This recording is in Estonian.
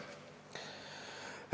Menetluslikud otsused.